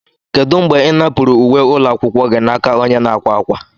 Kedu mgbe ị napụrụ uwe ụlọ akwụkwọ gị n'aka onye na-akwa akwa?